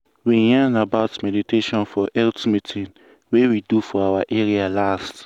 we yarn about meditation for health meeting wey we do for our area last.